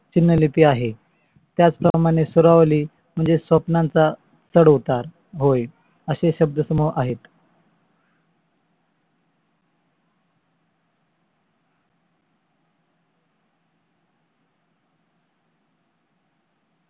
स्वरले आहे. त्याच प्रमाणे स्वरवले म्हणजे स्वप्नांचा चढ उतार होय. असे शब्द समूह आहेत.